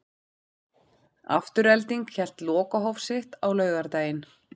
Afturelding hélt lokahóf sitt á laugardaginn.